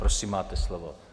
Prosím, máte slovo.